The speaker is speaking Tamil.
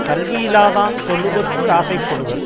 கல்வியில்லாதான் சொல்லுதற்கு ஆசை படுதல்